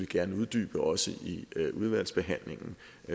gerne uddybe også i udvalgsbehandlingen